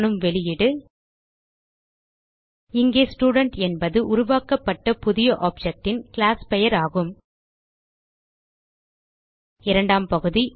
காணும் வெளியீடு இங்கே ஸ்டூடென்ட் என்பது உருவாக்கப்பட்ட புது ஆப்ஜெக்ட் ன் கிளாஸ் பெயர் ஆகும் இரண்டாம் பகுதி